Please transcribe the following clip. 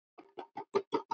Minning góðs manns mun lifa.